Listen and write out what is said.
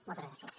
moltes gràcies